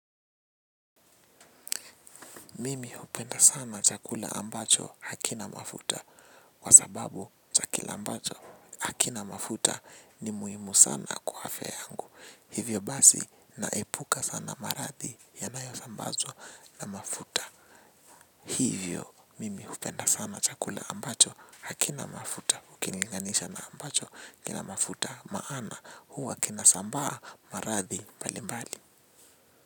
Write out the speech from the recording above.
Mimi hupenda sana chakula ambacho hakina mafuta kwa sababu chakula ambacho hakina mafuta ni muhimu sana kwa afya yangu. Hivyo basi naepuka sana maradhi yanayosambazwa na mafuta. Hivyo mimi hupenda sana chakula ambacho hakina mafuta. Ukilinganisha na ambacho kina mafuta maana huwa kinasambaa maradhi mbalimbali.